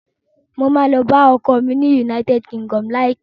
Mo ma lọ bá ọkọ mi ni United Kingdom láìpẹ́